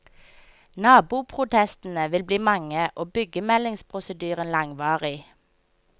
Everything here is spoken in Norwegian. Naboprotestene vil bli mange og byggemeldingsprosedyren langvarig.